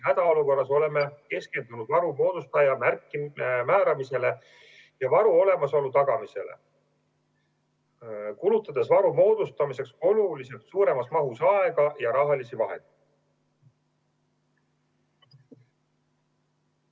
Hädaolukorras oleme keskendunud varu moodustaja määramisele ja varu olemasolu tagamisele, kulutades varu moodustamiseks oluliselt suuremas mahus aega ja rahalisi vahendeid.